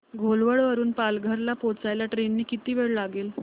घोलवड वरून पालघर ला पोहचायला ट्रेन ने किती वेळ लागेल